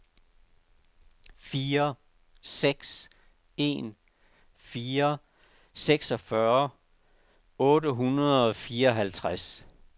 fire seks en fire seksogfyrre otte hundrede og fireoghalvtreds